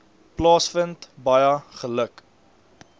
plaasvind baie geluk